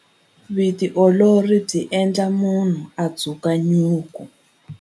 Vutiolori byi endla munhu a dzuka nyuku.